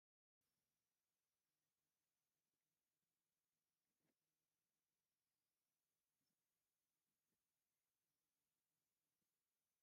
ኣዋጅ ዝወፀሉ ነጋሪት ጋዜጣ ብሄራዊ ክልላዊ መንግስቲ ትግራይ ይርአ ኣሎ፡፡ እዚ ጋዜጣ ልሙድ ስርሑ ኣዋጅት ሒዝካ ምምፃእ እዩ፡፡ ደስ ዝብል ስርዓት እዩ፡፡